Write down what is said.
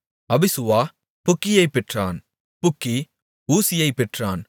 அபிசுவா புக்கியைப் பெற்றான் புக்கி ஊசியைப் பெற்றான்